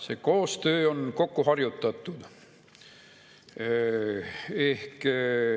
See koostöö on kokkuharjutatud.